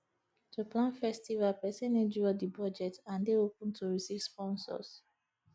to plan festival persin need draw di budget and de open to receive sponsors